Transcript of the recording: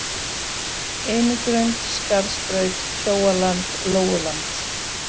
Einigrund, Skarðsbraut, Kjóaland, Lóuland